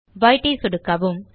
white ஐ சொடுக்கவும்